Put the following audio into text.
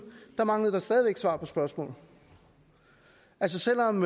manglede der stadig væk svar på spørgsmål selv om